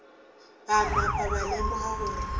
ba napa ba lemoga gore